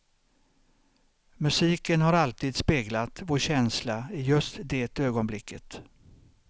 Musiken har alltid speglat vår känsla i just det ögonblicket.